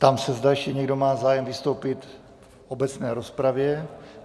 Ptám se, zda ještě někdo má zájem vystoupit v obecné rozpravě.